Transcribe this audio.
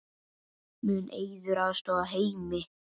Mun Eiður aðstoða Heimi?